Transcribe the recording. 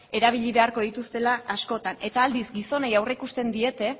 erabili beharko dituztela askotan eta aldiz gizonei aurreikusten diete